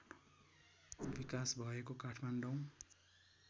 विकास भएको काठमाडौँ